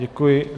Děkuji.